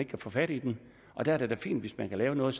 kan få fat i den og der er det da fint hvis man kan lave noget